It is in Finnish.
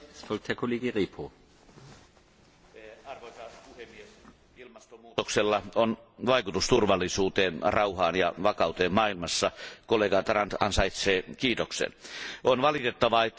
Arvoisa puhemies, ilmastonmuutoksella on vaikutus turvallisuuteen, rauhaan ja vakauteen maailmassa. Kollega Tarand ansaitsee kiitoksen. On valitettavaa, että ilmastonmuutos jää talouskriisin varjoon.